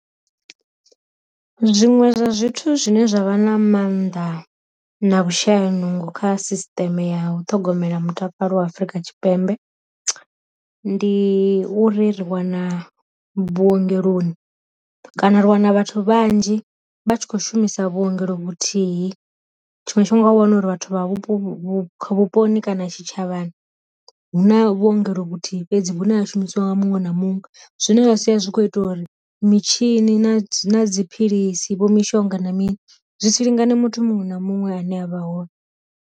Zwiṅwe zwa zwithu zwine zwa vha na mannḓa na vhu shayaho nungo kha sisiteme ya u ṱhogomela mutakalo wa afrika tshipembe, ndi uri ri wana vhuongeloni kana ri wana vhathu vhanzhi vha tshi kho shumisa vhuongelo vhuthihi, tshiṅwe tshifhinga wa wana uri vhathu vha vhupo vhupo vhuponi kana tshi tshavhani hu na vhuongelo vhuthihi fhedzi vhune ha shumisiwa nga muṅwe na muṅwe, zwine zwa sia zwi kho ita uri mitshini na dziphilisi vho mishonga na mini zwi si lingane muthu muṅwe na muṅwe ane avha hone.